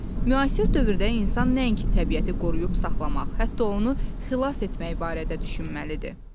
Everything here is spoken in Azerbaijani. Müasir dövrdə insan nəinki təbiəti qoruyub saxlamaq, hətta onu xilas etmək barədə düşünməlidir.